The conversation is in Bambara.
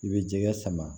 I bɛ jɛgɛ sama